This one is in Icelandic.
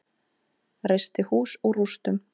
Reisti hús úr rústum.